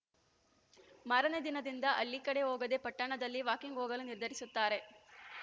ಮಾರನೆ ದಿನದಿಂದ ಹಳ್ಳಿಕಡೆ ಹೋಗದೆ ಪಟ್ಟಣದಲ್ಲಿ ವಾಕಿಂಗ್‌ ಹೋಗಲು ನಿರ್ಧರಿಸುತ್ತಾರೆ